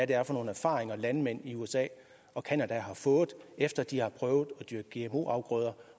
det er for nogle erfaringer landmænd i usa og canada har fået efter at de har prøvet at dyrke gmo afgrøder